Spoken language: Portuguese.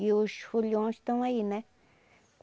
E os foliões estão aí, né?